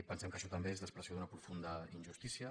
pensem que això també és l’expressió d’una profunda injustícia